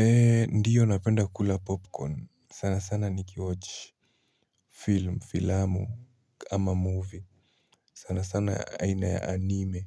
Ee ndiyo napenda kula popcorn sana sana nikiwatch film filamu ama movie sana sana aina ya anime